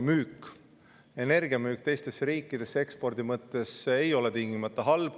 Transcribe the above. Tuuleenergia müük teistesse riikidesse ekspordi mõttes ei ole tingimata halb.